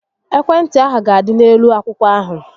Ekwe ntị ahụ ga-adị n'elu akwụkwọ ahụ